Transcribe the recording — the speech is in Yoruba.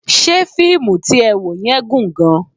Ṣé fíìmù tí ẹ wò yẹn gùn gan-an?